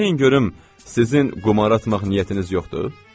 Deyin görüm, sizin qumar oynamaq niyyətiniz yoxdur?